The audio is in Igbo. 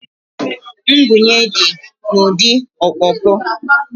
Ngwunye dị n'ụdị ọkpọkọ